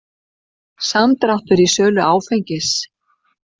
Samdráttur í sölu áfengis